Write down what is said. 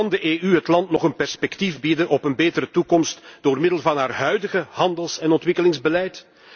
Kan de EU het land nog een perspectief bieden op een betere toekomst door middel van haar huidige handels en ontwikkelingsbeleid?